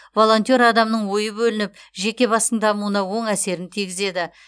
волонтер адамның ойы бөлініп жеке бастың дамуына оң әсерін тигізеді